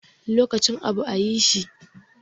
Lokacin abu a yi shi